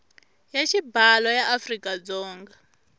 ya xibalo ya afrika dzonga